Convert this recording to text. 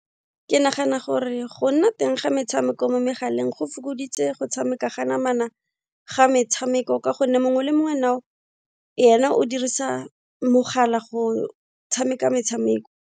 Ke nagana gore go nna teng ga metshameko mo megaleng go fokoditse go tshameka ga namana ga metshameko ka gonne mongwe le mongwe now ena o dirisa mogala go tshameka metshameko.